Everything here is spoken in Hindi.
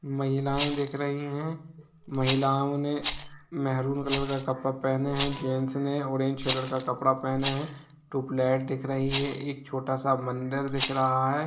महिलाएं दिख रही है महिलाओं ने मेहरून कलर का कपड़ा पहने है जेंट्स ने ऑरेंज कलर का कपड़ा पहने है ट्यूबलाइट दिख रही है एक छोटा सा मंदिर दिख रहा है।